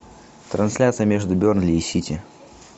трансляция между бернли и сити